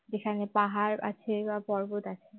যেখানে পাহাড় আছে বা পর্বত আছে